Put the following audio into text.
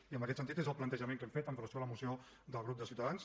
i en aquest sentit és el plantejament que hem fet amb relació a la moció del grup de ciutadans